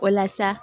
Walasa